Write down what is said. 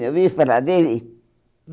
Já ouviu falar dele?